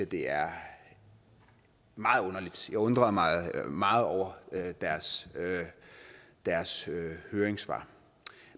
det er meget underligt jeg undrede mig meget over deres deres høringssvar